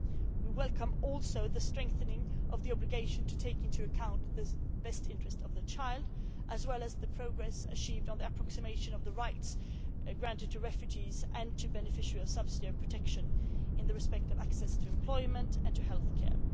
We also welcome the strengthening of the obligation to take into account the best interests of the child, as well as the progress achieved on the approximation of the rights granted to refugees, and to beneficiaries of subsidiary protection, in respect of access to employment and to healthcare.